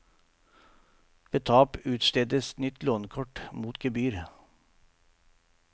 Ved tap utstedes nytt lånekort mot gebyr.